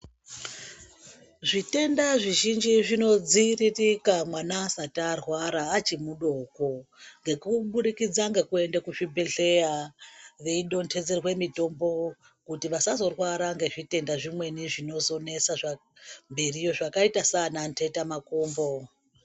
Zvitenda zvizhinji zvinodziiririka mwana asati arwara achimudoko ngekubudikidza ngekuende kuzvibhedhleya veidontedzerwe mutombo kuti vasazorwara ngezvitenda Zvimweni zvinozonesa zva mberiyo zvakaita saana nteta makumbo.